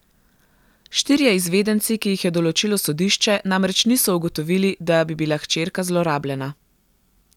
Štirje izvedenci, ki jih je določilo sodišče, namreč niso ugotovili, da bi bila hčerka zlorabljena.